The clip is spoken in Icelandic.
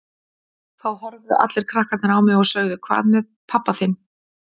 Þá horfðu allir krakkarnir á mig og sögðu Hvað með pabba þinn?